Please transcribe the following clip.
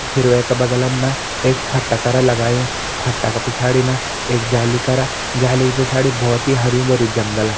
फिर वेका बगलम न एक फट्टा कर लगायूं फट्टा का पिछाड़ी न एक जाली करा जाली का पिछड़ी बोहोत ही हर्युं-भर्युं जंगल।